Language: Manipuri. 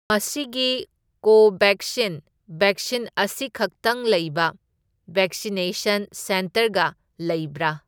ꯃꯁꯤꯒꯤ ꯀꯣꯕꯦꯛꯁꯤꯟ ꯕꯦꯛꯁꯤꯟ ꯑꯁꯤꯈꯛꯇꯪ ꯂꯩꯕ ꯕꯦꯛꯁꯤꯅꯦꯁꯟ ꯁꯦꯟꯇꯔꯒ ꯂꯩꯕ꯭ꯔꯥ?